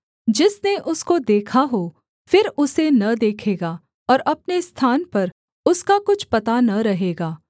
जिसने उसको देखा हो फिर उसे न देखेगा और अपने स्थान पर उसका कुछ पता न रहेगा